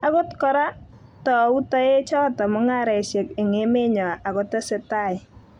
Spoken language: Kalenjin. Akot kora, tou toek choto mungaresiek eng emenyo akotesetai